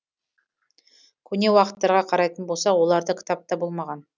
көне уақыттарға қарайтын болсақ оларда кітап та болмаған